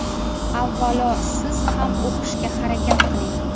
Avvalo, siz ham yaxshi o‘qishga harakat qiling.